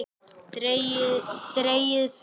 Dregið fyrir.